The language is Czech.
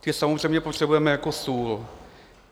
Ty samozřejmě potřebujeme jako sůl.